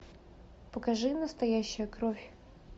покажи настоящая кровь